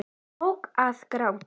Tók að gráta.